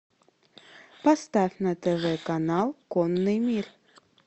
поставь на тв канал конный мир